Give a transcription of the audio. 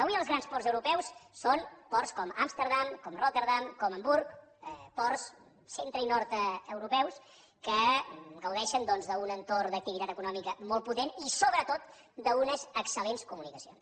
avui els grans ports europeus són ports com amsterdam com rotterdam com hamburg ports centre i nord europeus que gaudeixen d’un entorn d’activitat econòmica molt potent i sobretot d’unes excel·lents comunicacions